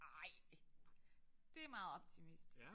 Nej det meget optimistisk